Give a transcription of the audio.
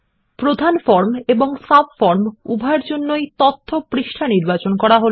প্রধান ফর্ম এবং সাবফর্ম উভয়ের জন্যই তথ্য পৃষ্ঠা নির্বাচন করা হল